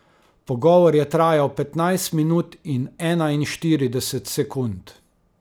Pogovor je trajal petnajst minut in enainštirideset sekund.